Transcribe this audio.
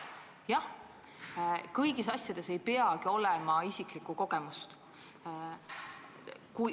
Jah, kõigis asjades ei peagi olema isiklikku kogemust.